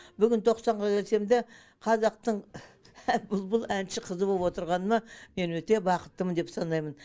бүгін тоқсанға келсем де қазақтың бұлбұл әнші қызы болып отырғаныма мен өте бақыттымын деп санаймын